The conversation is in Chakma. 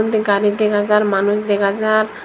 tey gari dega jar manus dega jar.